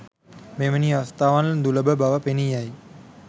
මෙවැනි අවස්‌ථාවන් දුලබ බව පෙනී යයි